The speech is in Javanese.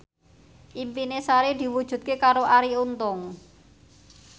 impine Sari diwujudke karo Arie Untung